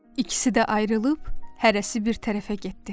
İkisi də ayrılıb hərəsi bir tərəfə getdi.